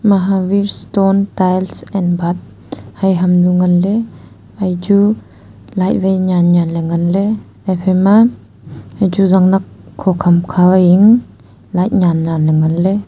mahaveer stone tiles and bath hai ham nu nganley haichu light wai nyan nyan ley nganley haphai ma zangnak kho khamkha e light nyan nyan ley ngan ley.